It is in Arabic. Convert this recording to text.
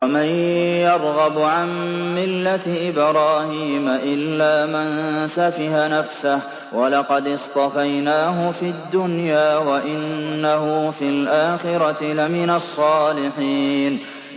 وَمَن يَرْغَبُ عَن مِّلَّةِ إِبْرَاهِيمَ إِلَّا مَن سَفِهَ نَفْسَهُ ۚ وَلَقَدِ اصْطَفَيْنَاهُ فِي الدُّنْيَا ۖ وَإِنَّهُ فِي الْآخِرَةِ لَمِنَ الصَّالِحِينَ